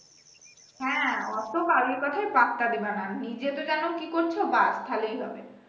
হ্যা ওতো public কথায় পাত্তা দিবা না নিজে তো জানো কি করছ, বাদ তাহলেই হবে।